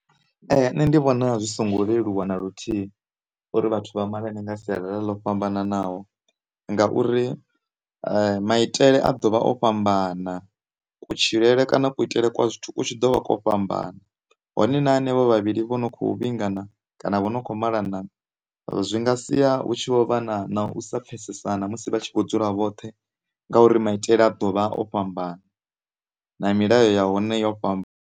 Nṋe ndi vhona zwi songo leluwa na luthihi uri vhathu vha malane nga sialala ḽo fhambananaho ngauri maitele a ḓovha o fhambana, kutshilele kana kuitele kwa zwithu ku tshi ḓovha ko fhambana, hone na hanevho vhavhili vha no khou vhingana kana vha no khou malana zwi nga siya hu tshi vho vha na u sa pfhesesana musi vha tshi vho dzula vhoṱhe ngauri maitele a ḓovha o fhambana na milayo ya hone yo fhamba.